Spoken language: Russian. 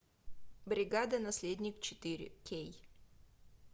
бригада наследник четыре кей